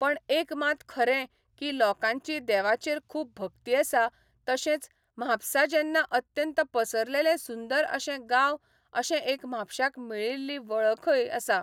पण एक मात खरें की लोकांची देवाचेर खूब भक्ती आसा तशेंच महापसा जेन्ना अत्यंत पसरलेले सुंदर अशें गांव अशें एक म्हापशाक मेळिल्ली वळखय आसा